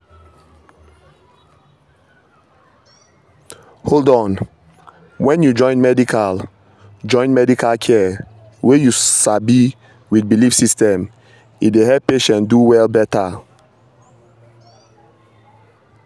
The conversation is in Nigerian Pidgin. hold on — when you join medical join medical care wey you sabi with belief system e dey help patient do well better.